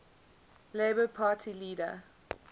labour party leader